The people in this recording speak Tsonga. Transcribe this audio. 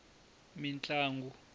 mintlangu